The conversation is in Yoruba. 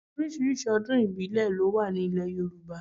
Oríṣiríṣi ọdún ìbílẹ̀ ló wà ní ile Yorùbá.